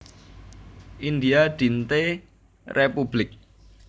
India Dinte Républik